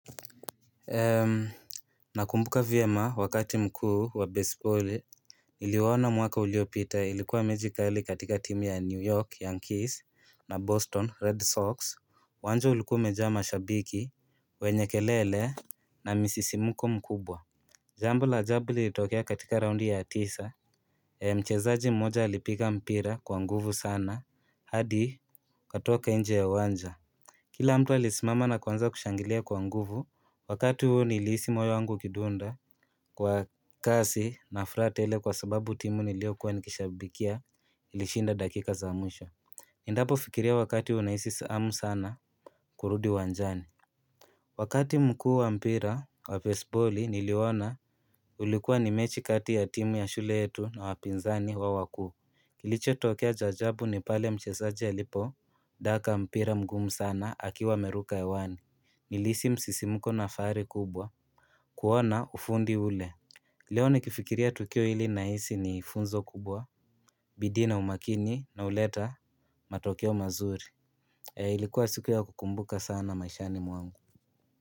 Nakumbuka vyema wakati mkuu wa baseball Niliwaona mwaka uliyopita ilikuwa mechi kali katika timu ya New York Yankees na Boston Red Sox uwanja ulikuwa umejaa mashabiki wenye kelele na misisimko mkubwa Jambo la ajabu lilitokea katika raundi ya tisa Mchezaji mmoja alipiga mpira kwa nguvu sana hadi ikatoka njje ya uwanja Kila mtu alisimama na kuanza kushangilia kwa nguvu, wakati huo nilihisi moyo wangu ukidunda kwa kasi na furahi tele kwa sababu timu niliyokuwa nikishabikia ilishinda dakika za mwisho. Nindapo fikiria wakati huwa nahisi siamu sana kurudi wanjani. Wakati mkuu wa mpira wa fesiboli niliona ulikuwa ni mechi kati ya timu ya shule yetu na wapinzani wa wakuu. Kilichotokea cha ajabu ni pale mchezaji alipodaka mpira mgumu sana akiwa ameruka hewani. Nilihisi msisimuko na fahari kubwa kuona ufundi ule. Leo nikifikiria tukio ili nahisi ni funzo kubwa bidii na umakini nauleta matokeo mazuri Eeh ilikuwa siku ya kukumbuka sana maishani mwangu.